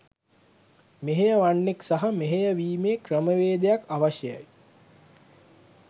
මෙහෙයවන්නෙක් සහ මෙහෙයවීමේ ක්‍රමවේදයක් අවශ්‍යයි?